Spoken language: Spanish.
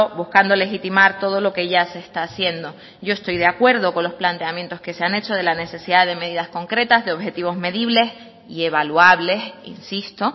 buscando legitimar todo lo que ya se está haciendo yo estoy de acuerdo con los planteamientos que se han hecho de la necesidad de medidas concretas de objetivos medibles y evaluables insisto